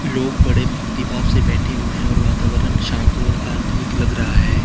लोग बड़े भक्ति भाव से बैठे हुए हैं और वातावरण शांत और आधुनिक लग रहा है।